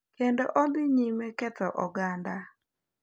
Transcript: Kendo odhi nyime ketho oganda.